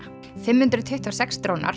fimm hundruð tuttugu og sex drónar